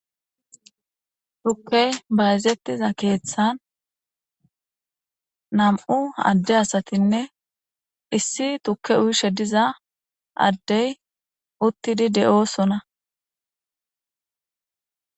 tukkey bayzettiza keeththan nam7u adde asatinne issi tukke uyshe diza addey uttidi de7osona